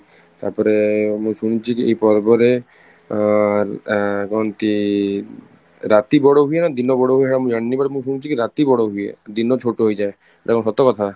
ତାପରେ ମୁଁ ଶୁଣିଛି କି ଏଇ ପର୍ବରେ ଆଁ ଆଁ କୁହନ୍ତି, ରାତି ବଡ ହୁଏନା ଦିନ ବଡ ହୁଏ ହେଈଟା ମୁଁ ଜାଣିନି but ମୁଁ ଶୁଣିଛି କି ରାତି ବଡ ହୁଏ ଦିନ ଛୋଟ ହେଇଯାଏ, ଏଇଟା କଣ ସତ କଥା ?